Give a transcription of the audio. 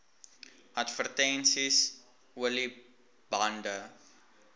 advertensies olie bande